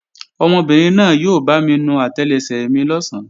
Ọmọbìnrin náà yóò bámi nu àtẹlẹsẹ̀ mi lọ̀sán